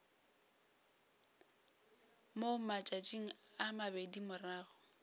mo matšatšing a mabedi morago